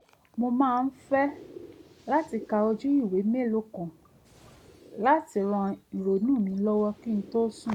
mo máa ń fẹ́ láti ka ojú ewé mélòó kan láti ran ìrònú mi lọ́wọ́ kí n tó sùn